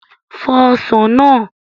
Fọ Ọsàn náà!